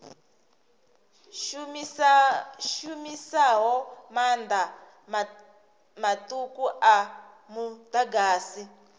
shumisaho maanḓa maṱuku a muḓagasi